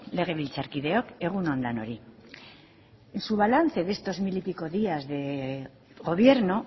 legebiltzarkideok egun on denoi en su balance de estos mil y pico días de gobierno